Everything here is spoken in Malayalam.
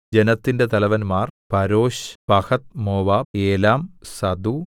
ജനത്തിന്റെ തലവന്മാർ പരോശ് പഹത്ത്മോവാബ് ഏലാം സഥൂ